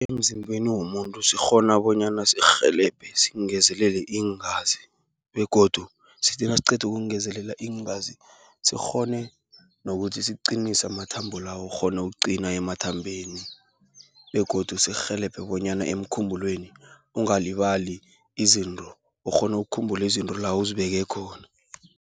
Emzimbeni womuntu sikghona bonyana sirhelebhe singezelela iingazi, begodu sithinasiqedu ukungezelela iingazi, sikghone nokuthi sikqinise amathambo lawo, ukghone ukuqina emathambeni, begodu sirhelebhe bonyana emkhumbulweni, ungalibalali izinto ukghonu ukukhumbula izinto la uzibeke khona.